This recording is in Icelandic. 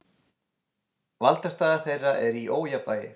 Valdastaða þeirra er í ójafnvægi.